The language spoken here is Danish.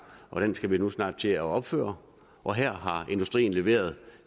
dem skal vi nu snart til at opføre og her har industrien leveret